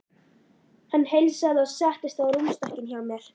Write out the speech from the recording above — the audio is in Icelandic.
Hann heilsaði og settist á rúmstokkinn hjá mér.